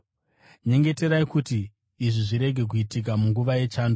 Nyengeterai kuti izvi zvirege kuitika munguva yechando,